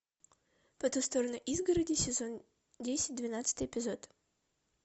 по ту сторону изгороди сезон десять двенадцатый эпизод